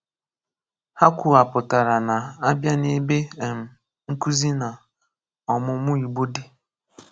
Hà kwùwàpụ̀tàrà nà à bịa ná ebé um nkụ̀zi nà ọ̀mụmụ Igbó dị.